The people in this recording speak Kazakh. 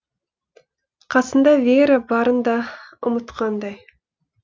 қасында вера барын да ұмытқандай